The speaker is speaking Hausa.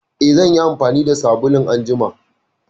Eh, zan yi amfani da sabulun a jima.